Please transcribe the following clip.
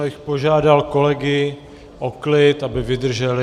Já bych požádal kolegy o klid, aby vydrželi.